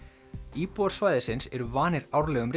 íbúar svæðisins eru vanir árlegum